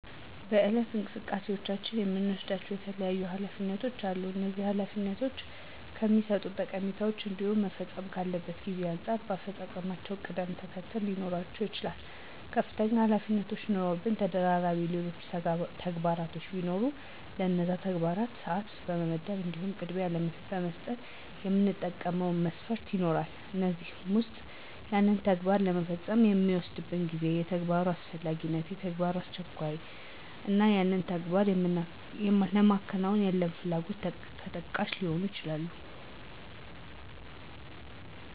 በየዕለት እንቅስቃሴዎቻችን የምንወስዳቸው የተለያዩ ኃላፊነቶች አሉ፤ እነዚህ ኃላፊነቶች ከሚሠጡት ጠቀሜታ እንዲሁም መፈጸም ካለበት ጊዜ አንጻር በአፈፃፀማቸው ቅደም ተከተለ ሊኖራቸው ይችላል። ከፍተኛ ኃላፊነቶች ኑረውብን ተደራቢ ሌሎች ተግባራቶች ቢኖሩ ለነዛ ተግባራት ሰዓት ለመመደብ እንዲሁም ቅድሚያ ለመስጠት የምንጠቀመው መስፈርት ይኖራል፤ ከእነዚህም ዉስጥ ያንን ተግባር ለመፈጸም የሚወስድብን ጊዜ፣ የተግባሩ አስፈላጊነት፣ የተግባሩ አስቸኳይነት እና ያንን ተግባር ለማከናወን ያለን ፍላጎት ተጠቃሽ ሊሆኑ ይችላሉ።